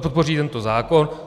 podpoří tento zákon.